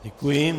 Děkuji.